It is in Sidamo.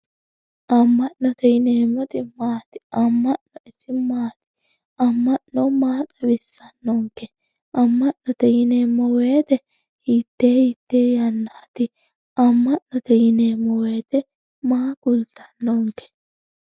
amma'note yineemot maati amma'no ise maati amma'no maa xawissannokke amma'note yineemo woyiite hitee hitee yannaati amma'note yineemo woyiite maa kulttannonke